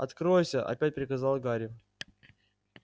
откройся опять приказал гарри